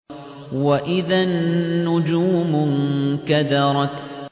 وَإِذَا النُّجُومُ انكَدَرَتْ